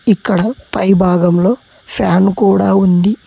ఇక్కడ పై భాగంలో ఫ్యాన్ కూడా ఉంది.